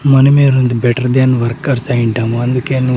మనమే రొంత better than workers అయుంటాము అందుకే ను --